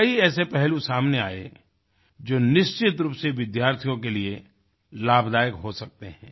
कई ऐसे पहलू सामने आए जो निश्चित रूप से विद्यार्थियों के लिए लाभदायक हो सकते हैं